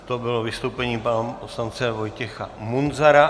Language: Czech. To bylo vystoupení pana poslance Vojtěcha Munzara.